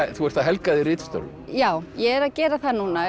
þú ert að helga þig ritstörfum já ég er að gera það núna